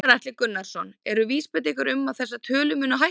Gunnar Atli Gunnarsson: Eru vísbendingar um að þessar tölur muni hækka?